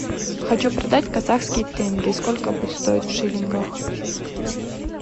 хочу продать казахские тенге сколько будет стоить в шиллингах